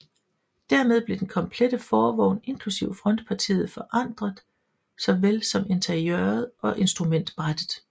Dermed blev den komplette forvogn inklusiv frontpartiet forandret såvel som interiøret og instrumentbrættet